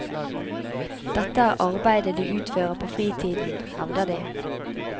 Dette er arbeide de utfører på fritiden, hevder de.